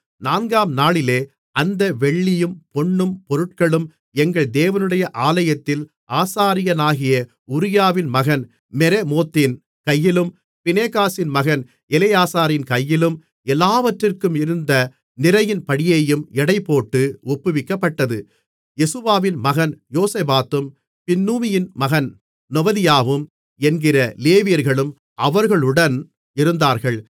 நான்காம் நாளிலே அந்த வெள்ளியும் பொன்னும் பொருட்களும் எங்கள் தேவனுடைய ஆலயத்தில் ஆசாரியனாகிய உரியாவின் மகன் மெரெமோத்தின் கையிலும் பினெகாசின் மகன் எலெயாசாரின் கையிலும் எல்லாவற்றிற்கும் இருந்த நிறையின்படியேயும் எடைபோட்டு ஒப்புவிக்கப்பட்டது யெசுவாவின் மகன் யோசபாத்தும் பின்னூயின் மகன் நொவதியாவும் என்கிற லேவியர்களும் அவர்களுடன் இருந்தார்கள்